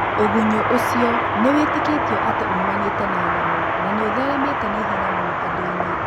tũgunyũũcio nĩwĩtĩkĩtio atĩ umanĩte na nyamũna nĩũtheremete na ihenya mũno andũinĩ.